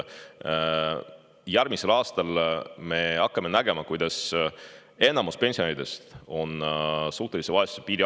Järgmisel aastal me hakkame nägema, kuidas enamus pensionäridest on allpool suhtelise vaesuse piiri.